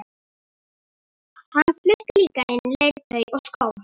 Hann flutti líka inn leirtau og skó.